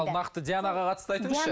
ал нақты дианаға қатысты айтыңызшы